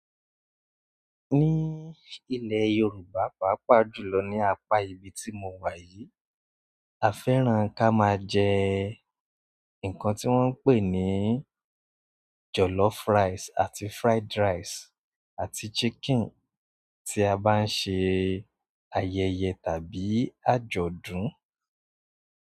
Ní ilẹ̀ Yorùbá pàápàá jùlọ ní apá ibi tí mo wà yìí, a fẹ́ràn ká máa jẹ nǹkan tí wọ́n ń pè ní jọ̀lọ́f rice àti fried rice àti chicken tí a bá ń ṣe ayẹyẹ tàbí àjọ̀dún.